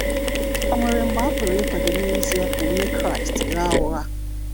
Ọ̀ nwere mgbe a pụrụ ịkwadọ n'ezia ka onye Kraịst ghaa ụgha?